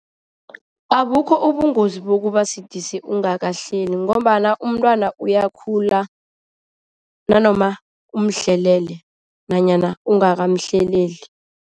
Abukho ubungozi bokubasidisi ungahleli ngombana umntwana uyakhula nanoma umhlelele nanyana ungakamhleleli.